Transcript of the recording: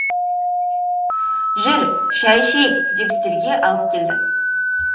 жүр шай ішейік деп үстелге алып келді